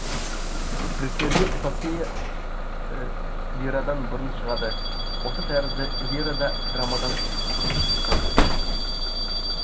гректерде эпопея лирадан бұрын шығады осы тәрізді лира да драмадан бұрын шыққан